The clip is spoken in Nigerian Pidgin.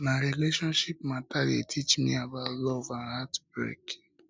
na relationships mata dey teach me about love and heartbreak